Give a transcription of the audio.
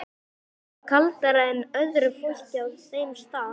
Og er kaldara en öðru fólki á þeim stað.